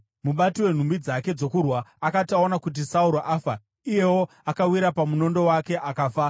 Mubati wenhumbi dzake dzokurwa akati aona kuti Sauro afa, iyewo akawira pamunondo wake akafa.